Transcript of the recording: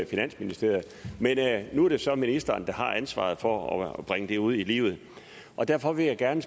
finansministeriet men nu er det så ministeren der har ansvaret for at bringe det ud i livet og derfor vil jeg gerne